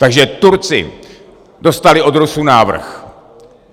Takže Turci dostali od Rusů návrh.